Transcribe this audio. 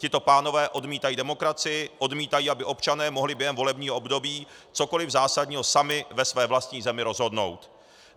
Tito pánové odmítají demokracii, odmítají, aby občané mohli během volebního období cokoli zásadního sami ve své vlastní zemi rozhodnout.